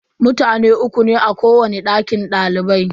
Mutane uku ne a kowani dakin dalibai.